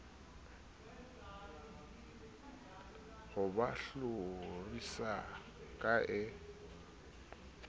ho ba hlorisa ke a